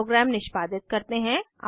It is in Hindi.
अब प्रोग्राम निष्पादित करते हैं